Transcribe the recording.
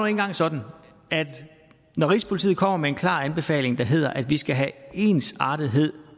engang sådan at når rigspolitiet kommer med en klar anbefaling der hedder at vi skal have ensartethed